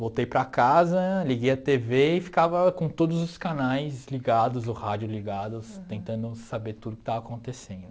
Voltei para a casa, liguei a tê vê e ficava com todos os canais ligados, o rádio ligados, tentando saber tudo o que estava acontecendo.